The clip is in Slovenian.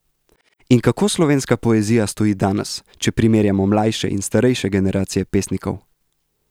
In kako slovenska poezija stoji danes, če primerjamo mlajše in starejše generacije pesnikov?